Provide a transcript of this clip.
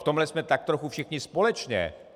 V tomhle jsme tak trochu všichni společně.